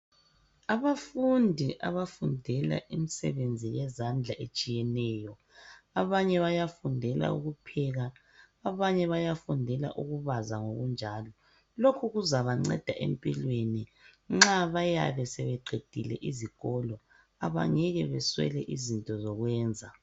Abafundi abafundela imisebenzi yezandla etshiyeneyo. Abanye bayafundela ukupheka, abanye bayafundela ukubaza ngokunjalo. Lokhu kuzabanceda empilweni nxa bayabe sebeqedile izikolo abangeke baswele izinto zokwenza.